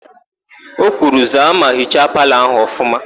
O kwuru, "zaa ma hichaa palọ ahụ ọfụma"!